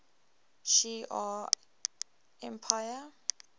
shi ar empire